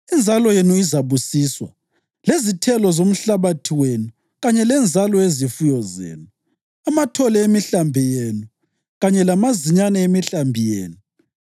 Inzalo yenu izabusiswa, lezithelo zomhlabathi wenu kanye lenzalo yezifuyo zenu, amathole emihlambi yenu kanye lamazinyane emihlambi yenu.